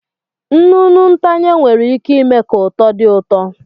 Nnụnụ ntanye nwere ike ime ka uto dị ụtọ.